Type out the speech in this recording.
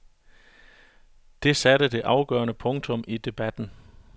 Det satte det afgørende punktum i debatten.